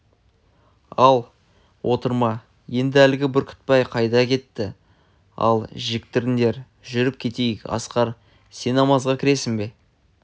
ал отырма енді әлгі бүркітбай қайда кетті атты жектіріңдер жүріп кетейік асқар сен намазға кіресің бе